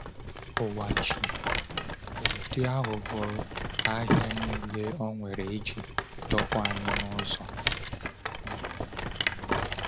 Ụwa ji ụdị aghụghọ ahịa niile o nwere iji dọpụ anyị n’ụzọ. um